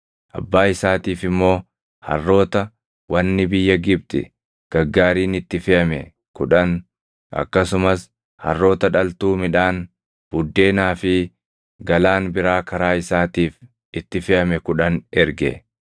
Abbaa isaatiif immoo harroota, wanni biyya Gibxi gaggaariin itti feʼame kudhan, akkasumas harroota dhaltuu midhaan, buddeenaa fi galaan biraa karaa isaatiif itti feʼame kudhan erge.